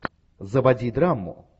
заводи драму